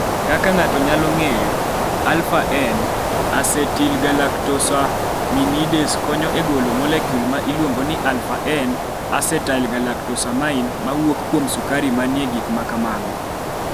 Kaka ng�ato nyalo ng�eyo, alfa N asetilgalaktosaminidase konyo e golo molekul ma iluongo ni alpha N acetylgalactosamine mawuok kuom sukari ma ni e gik ma kamago.